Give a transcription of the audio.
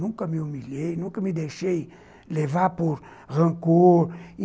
Nunca me humilhei, nunca me deixei levar por rancor.